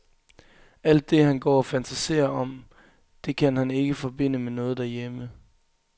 Alt det, han går og fantaserer om, det kan han ikke forbinde med noget derhjemme.